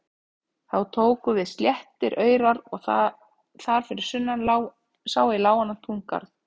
Þá tóku við sléttir aurar og þar fyrir sunnan sá í lágan túngarð.